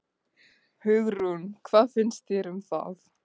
Hugrún: Hvað finnst þér um það?